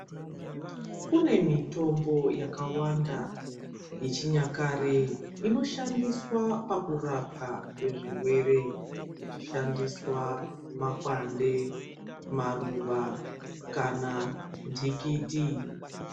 Kune mitombo yakawanda yechinyakare inoshandiswa pakurapwa kwezvirwere ichishandisa makwande maruwa kana ntikiti.